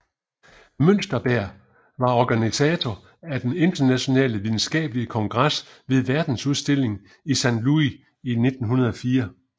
Münsterberg var organisator af den internationale videnskabelige kongres ved verdensudstillingen i Saint Louis 1904